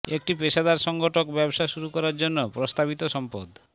একটি পেশাদার সংগঠক ব্যবসা শুরু করার জন্য প্রস্তাবিত সম্পদ